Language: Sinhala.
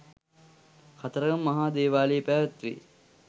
කතරගම මහා දේවාලයේ පැවැත්වේ.